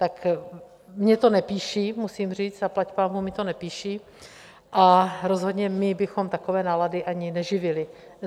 Tak mně to nepíší, musím říct, zaplať pánbůh mi to nepíší, a rozhodně my bychom takové nálady ani neživili.